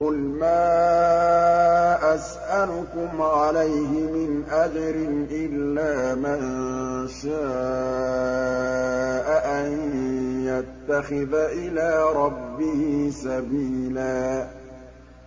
قُلْ مَا أَسْأَلُكُمْ عَلَيْهِ مِنْ أَجْرٍ إِلَّا مَن شَاءَ أَن يَتَّخِذَ إِلَىٰ رَبِّهِ سَبِيلًا